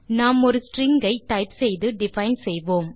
நாம் ஒரு ஸ்ட்ரிங் ஐ டைப் செய்து டிஃபைன் செய்வோம்